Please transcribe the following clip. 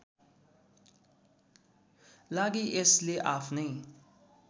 लागि यसले आफ्नै